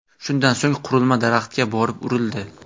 Shundan so‘ng qurilma daraxtga borib urildi .